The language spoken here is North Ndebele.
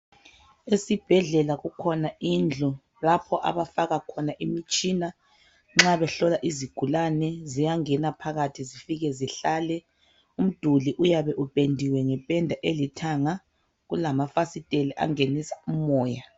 Esibhedlela kukhona indlu lapho abafaka khona imtshina nxa behlola izigulane ziyangena phakathi zifike zihlale umduli uyabe upendiwe ngependa elithanga kulamafasiteli angenisa umoya